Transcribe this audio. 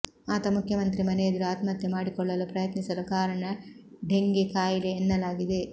ಆತ ಮುಖ್ಯಮಂತ್ರಿ ಮನೆಯೆದುರು ಆತ್ಮಹತ್ಯೆ ಮಾಡಿಕೊಳ್ಳಲು ಪ್ರಯತ್ನಿಸಲು ಕಾರಣ ಡೆಂಘೆ ಕಾಯಿಲೆ ಎನ್ನಲಾಗಿದೆ